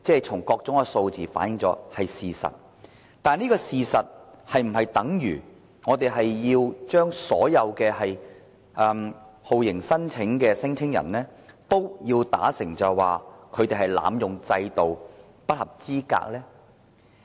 從各種數字反映，這是事實，但這是否等於我們要把所有酷刑聲請人說成濫用制度、不合資格呢？